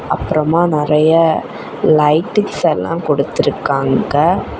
அப்றமா நிறைய லைட்டிங்ஸ் எல்லா குடுத்துருக்காங்க.